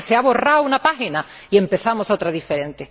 Es que se ha borrado una página y empezamos otra diferente.